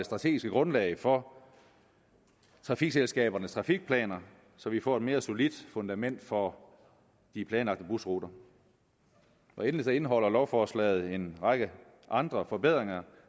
strategisk grundlag for trafikselskabernes trafikplaner så vi får et mere solidt fundament for de planlagte busruter endelig indeholder lovforslaget en række andre forbedringer